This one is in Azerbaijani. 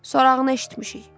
Sorağını eşitmişik.